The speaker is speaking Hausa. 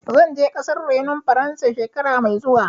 Zan je ƙasar renon Faransa, shekara mai zuwa.